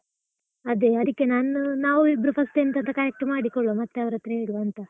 ಅದೇ, ಅದಿಕ್ಕೆ ನಾನು ನಾವು ಇಬ್ರು first ಎಂತಂತ correct ಮಾಡಿಕೊಳ್ಳುವ, ಮತ್ತೆ ಅವರತ್ರ ಹೇಳುವಾಂತ.